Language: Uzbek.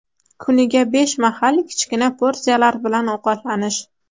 Kuniga besh mahal, kichkina porsiyalar bilan ovqatlanish.